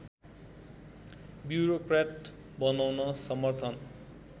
bureaucrat बनाउन समर्थन